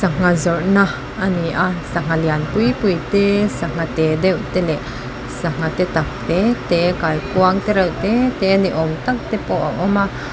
sangha zawrhna a ni a sangha lian pui pui te sangha te deuh te leh sangha te tak te te kaikuang te reuh te te ni awm tak tepawh a awm a.